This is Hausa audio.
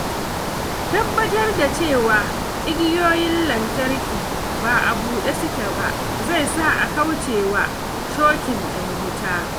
Tabbatar da cewa igiyoyin lantarki ba a buɗe suke ba zai sa a kauce wa shokin ɗin wuta.